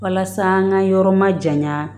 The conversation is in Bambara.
Walasa an ka yɔrɔ ma janya